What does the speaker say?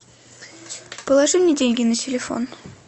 положи мне деньги на телефон